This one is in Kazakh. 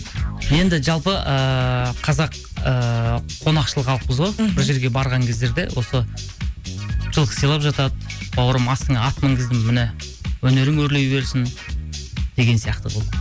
енді жалпы ыыы қазақ ыыы қонақшыл халықпыз ғой мхм бір жерге барған кездерде осы жылқы сыйлап жатады бауырым астына ат мінгіздім міне өнерің өрлей берсін деген сияқты қылып